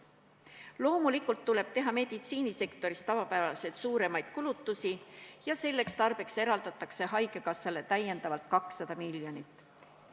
Loomulikult tuleb meditsiinisektoris teha tavapärasest suuremaid kulutusi ja selleks tarbeks eraldatakse haigekassale täiendavalt 200 miljonit eurot.